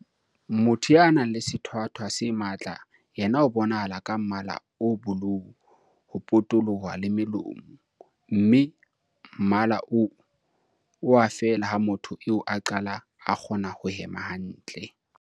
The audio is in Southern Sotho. Motho ya nang le sethwathwa se matla yena o bonahala ka mmala o bolou ho potoloha le molomo mme mmala oo o a fela ha motho eo a qala a kgona ho hema hantle.